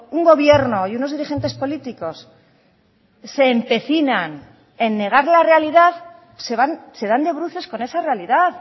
un gobierno y unos dirigentes políticos se empecinan en negar la realidad se dan de bruces con esa realidad